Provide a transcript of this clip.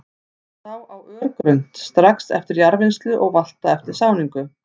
Sá á örgrunnt, strax eftir jarðvinnslu og valta eftir sáningu.